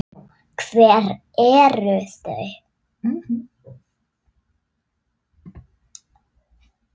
Hver eru þau?